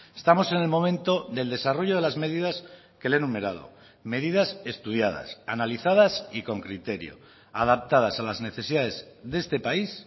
estamos en el momento del desarrollo de las medidas que le he enumerado medidas estudiadas analizadas y con criterio adaptadas a las necesidades de este país